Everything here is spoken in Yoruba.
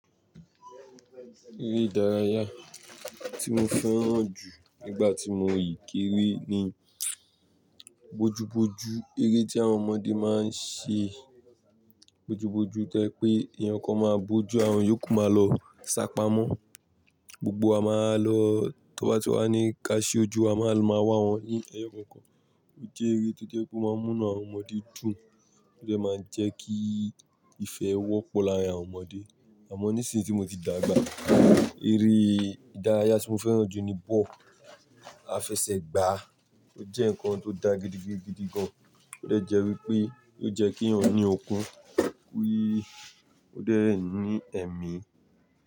Eré ìdárayá tí mo fẹ́ràn jù nígbà tí mo ìkére ni bojúbojú. Eré tí àwọn ọmọdé máa ń ṣe bojúbojú to je wi pé eeyan kan máa bojú àwọn èyókù máa lọ sá pamọ́, gbogbo a máa lọ tọ ba ti wà ní ká ṣi ojú a máa wa lọ maa wá wọn ní ẹyọ kan kan. Ó jẹ́ eré tó jẹ́ pé ó máa ń mu inu awon ọmọdé dùn, ó dẹ́ máa ń jẹ́ kí ìfẹ́ wọ́pọ̀ láàárín àwọn ọmọdé. Àmọ́ nísìnyí tí mo ti dàgbà, eré ìdárayá tí mo fẹ́ràn jù ní bọ́. Àfẹsẹ̀gbá ó jẹ́ nǹkan tó dá gidi gidi gidi gan. Ó de jẹ́ wípé yiò jẹ́ kí yàn ní okun, ki ó dẹ́ ń ní ẹ̀mí.